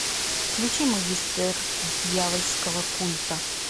включи магистр дьявольского культа